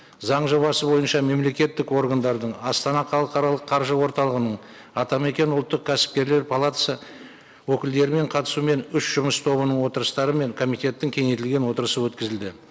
заң жобасы бойынша мемлекеттік органдардың астана халықаралық қаржы орталығының атамекен ұлттық кәсіпкерлер палатасы өкілдерімен қатысуымен үш жұмыс тобының отырыстары мен комитеттің кеңейтілген отырысы өткізілді